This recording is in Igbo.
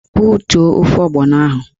Butuo ofe ọgbọnọ ahụ!